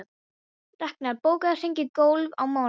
Raknar, bókaðu hring í golf á mánudaginn.